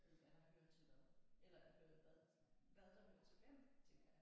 Øh hvad der hører til hvad eller hvad hvad der hører til hvem tænker jeg